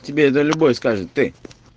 тебе это любой скажет ты